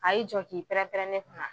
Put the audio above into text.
A y'i jɔ k'i pɛrɛn-pɛrɛn ne kun na